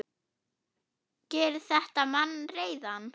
Gerir þetta mann reiðan?